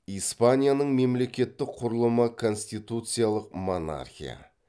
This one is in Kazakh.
испанияның мемлекеттік құрылымы конституциялық монархия